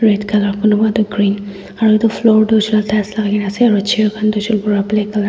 red colour kunba toh aro etu floor dust lakai kena ase aro chair khan hoishe black colour .